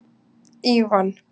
Ívan